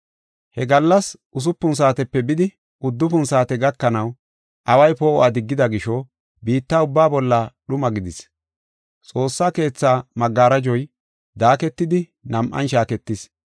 He gallas usupun saatepe bidi uddufun saate gakanaw away poo7uwa diggida gisho, biitta ubbaa bolla dhuma gidis. Xoossa Keetha geshey daaketidi nam7an shaaketis.